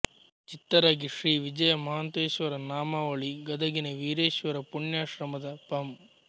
ಚಿತ್ತರಗಿ ಶ್ರೀ ವಿಜಯ ಮಹಾಂತೇಶ್ವರ ನಾಮಾವಳಿ ಗದಗಿನ ವೀರೇಶ್ವರ ಪುಣ್ಯಾಶ್ರಮದ ಪಂ